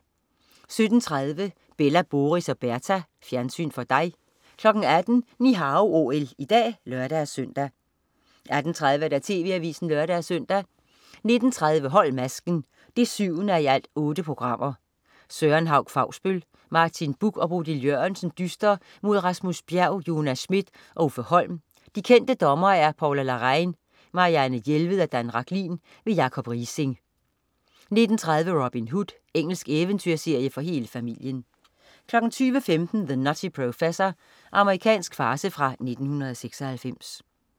17.30 Bella, Boris og Berta. Fjernsyn for dig 18.00 Ni Hao OL i dag (lør-søn) 18.30 TV Avisen (lør-søn) 19.30 Hold masken 7:8. Søren Hauch Fausbøll, Martin Buch og Bodil Jørgensen dyster mod Rasmus Bjerg, Jonas Schmidt og Uffe Holm. De kendte dommere: Paula Larrain, Marianne Jelved og Dan Rachlin. Jacob Riising 19.30 Robin Hood. Engelsk eventyrserie for hele familien 20.15 The Nutty Professor. Amerikansk farce fra 1996